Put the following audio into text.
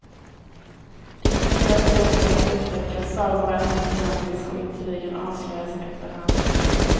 Det finns hela tiden mer att upptäcka, sagovärlden är gigantisk och intrigen avslöjas efterhand.